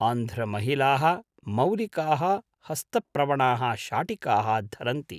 आन्ध्रमहिलाः मौलिकाः हस्तप्रवणाः शाटिकाः धरन्ति।